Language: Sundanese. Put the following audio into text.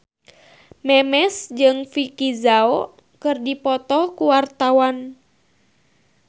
Memes jeung Vicki Zao keur dipoto ku wartawan